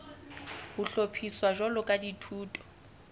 ho hlophiswa jwalo ka dithuto